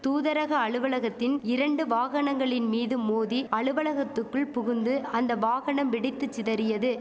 தூதரக அலுவலகத்தின் இரண்டு வாகனங்களின் மீது மோதி அலுவலகத்துக்குள் புகுந்து அந்த வாகனம் வெடித்து சிதறியது